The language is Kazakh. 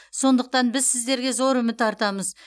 сондықтан біз сіздерге зор үміт артамыз